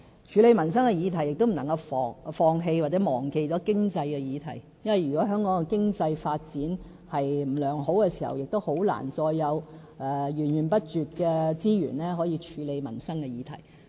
處理民生的議題的同時，我們亦不能夠放棄或忘記經濟議題，因為如果香港的經濟發展不好，便很難會有源源不絕的資源，處理民生議題。